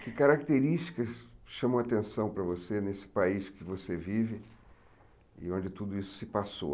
Que características chamam a atenção para você nesse país que você vive e onde tudo isso se passou?